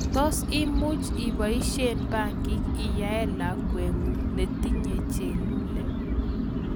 Tos imuch ipoisyei pangik inyaen lakwet ng�ung netinyei chelule?